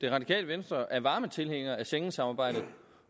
radikale venstre er varme tilhængere af schengensamarbejdet